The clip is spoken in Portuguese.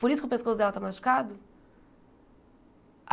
Por isso que o pescoço dela está machucado?